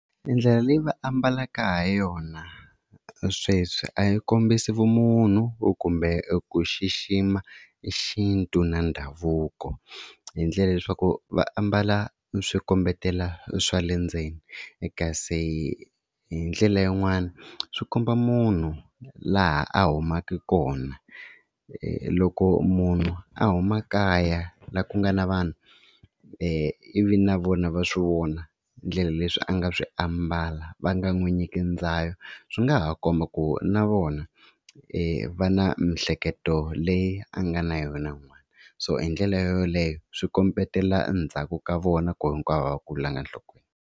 Ndlela leyi va ambalaka ha yona sweswi a yi kombisa vumunhu kumbe ku xixima i xintu na ndhavuko, hi ndlela ya leswaku va ambala swi kombetela swa le ndzeni. Kasi hi ndlela yin'wani swi komba munhu laha a humaka kona, loko munhu a huma kaya laha ku nga na vanhu ivi na vona va swi vona hi ndlela leswi a nga swi ambala va nga n'wi nyiki ndzayo swi nga ha komba ku na vona va na miehleketo leyi a nga na yona n'wana, so hi ndlela yoleyo swi kombetela ndzhaku ka vona ku hinkwavo a va kulanga enhlokweni.